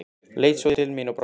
Leit svo til mín og brosti.